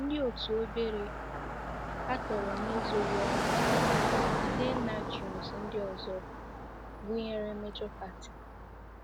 Ndị otu obere katọrọ n'ezoghị ọnụ rJidennagions ndị ọzọ, gụnyere Major Party.